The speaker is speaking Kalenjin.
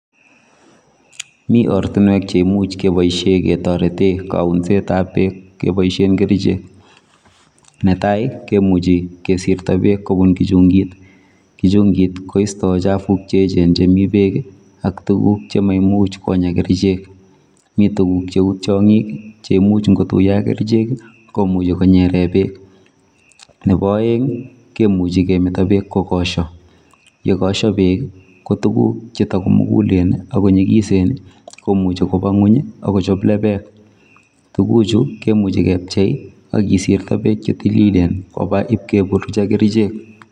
Mi ortinwek cheimuch keboishe ketorete kaunsetap beek keboishen kerichek. Netai kemuchi kesirto beek kobun kichunkit. Kichungit koistoi chafuk cheechen chemi beek ak tuguk cheimuch menya kerichek. Mi tuguk cheu tiong'ik che imuch nkotuiyo ak kerichek, komuchi konyere beek. Nepo oeng kemuchi kemeto beek kokosho. yekosho beek, ko tuguk chemukulen ak chetakonyikisen komuchi kopa ng'uny akochop lepek. Tukuchu kemuchi kepchei akesirto beek chetililen kopa ipkotuiyo ak kerichek.